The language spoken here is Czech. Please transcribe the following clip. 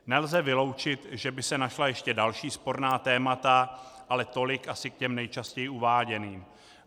Nelze vyloučit, že by se našla ještě další sporná témata, ale tolik asi k těm nejčastěji uváděným.